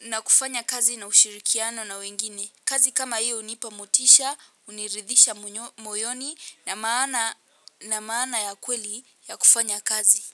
na kufanya kazi na ushirikiano na wengine. Kazi kama hiyo hunipa motisha, huniridhisha moyoni na maana ya kweli ya kufanya kazi.